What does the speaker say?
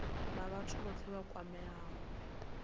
na vhathu vhothe vha kwameaho